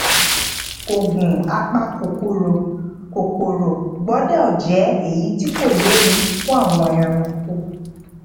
oògùn apakòkòrò kòkòrò gbódò jé èyí tí kò léwu fún àwọn ẹranko